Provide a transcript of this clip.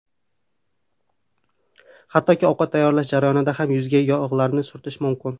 Hattoki ovqat tayyorlash jarayonida ham yuzga yog‘larni surtish mumkin.